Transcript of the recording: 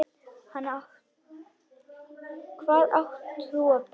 Hvað átt þú af börnum?